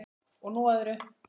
Og nú að öðru.